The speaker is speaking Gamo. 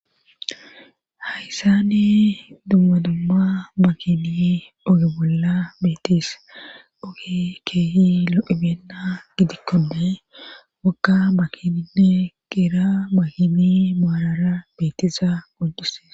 Hayssani dumma dumma bakini oge bolla beetis oge keehi lo7ibenna gidikkone wakka bakininne geera bakini maarara beetiza gojuse